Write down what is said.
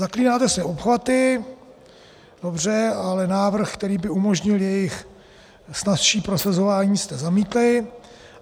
Zaklínáte se obchvaty, dobře, ale návrh, který by umožnil jejich snazší prosazování, jste zamítli.